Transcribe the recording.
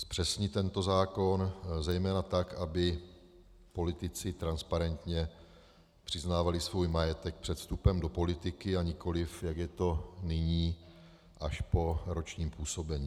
Zpřesnit tento zákon, zejména tak, aby politici transparentně přiznávali svůj majetek před vstupem do politiky, a nikoli jak je to nyní, až po ročním působení.